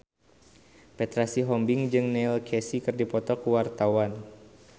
Petra Sihombing jeung Neil Casey keur dipoto ku wartawan